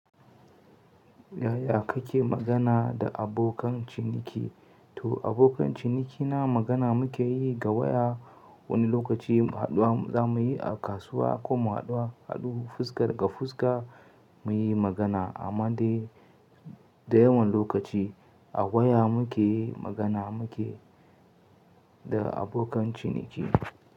Yaya kake magana da abokan ciniki? To abokan cinikina magana muke yi ga waya. Wani lokaci haɗuwa za mu yi a kasuwa ko mu haɗuwa haɗu fuska ga fuska muyi magana. Amma dai da yawan lokaci a waya muke magana muke da abokan ciniki.